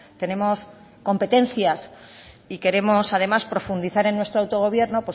tenemos competencias y queremos además profundizar en nuestro autogobierno